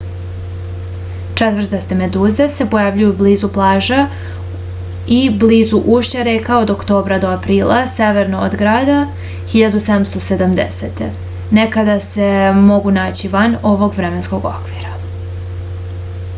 četvrtaste meduze se pojavljuju blizu plaža i blizu ušća reka od oktobra do aprila severno od grada 1770. nekad se mogu naći van ovog vremenskog okvira